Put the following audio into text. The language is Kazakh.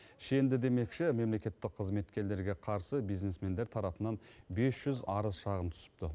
шенді демекші мемлекеттік қызметкерлерге қарсы бизнесмендер тарапынан бес жүз арыз шағым түсіпті